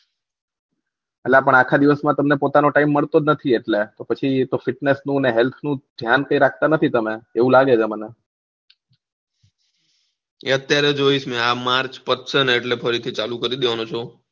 અલા પણ આખા દિવસ માં તમને પોતાનો TIMR મળતો જ નથી એટલે પછી તો FITNESS નું ને HELTH નું ધ્યાન તો રાખતા નથી તમે એવું લાગે છે મને એ અત્યારે જોઈ આ MARCH પતશે ને એટલે ફરીથી ચાલુ કરી દઈશ